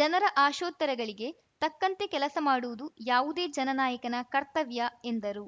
ಜನರ ಆಶೋತ್ತರಗಳಿಗೆ ತಕ್ಕಂತೆ ಕೆಲಸ ಮಾಡುವುದು ಯಾವುದೇ ಜನನಾಯಕನ ಕರ್ತವ್ಯ ಎಂದರು